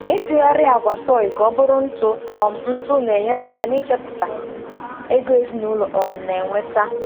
Ịtụgharị agwa soy ka ọ bụrụ ntụ um ntụ na-enyere aka n'ichepụta ego ezinụlọ um na-enweta.